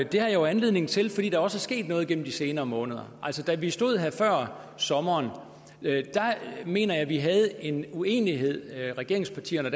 det har jeg jo anledning til fordi der også er sket noget igennem de senere måneder da vi stod her før sommeren mener jeg at vi havde en uenighed regeringspartierne